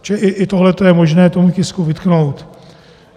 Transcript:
Čili i tohle je možné tomu tisku vytknout.